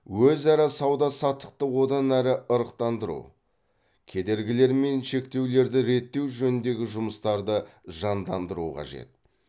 өзара сауда саттықты одан әрі ырықтандыру кедергілер мен шектеулерді реттеу жөніндегі жұмыстарды жандандыру қажет